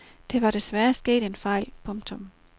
Der var desværre sket en fejl. punktum